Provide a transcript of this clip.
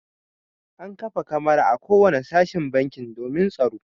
An kafa kamara a kowane sashen banki domin tsaro.